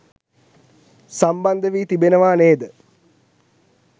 සම්බන්ධ වී තිබෙනවා නේද?